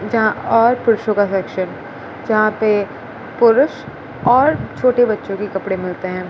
जहां और पुरुषों का सेक्शन जहां पे पुरुष और छोटे बच्चों की कपड़े मिलते है।